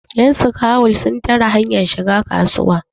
yanskawul sun tare hanyar shiga kasuwa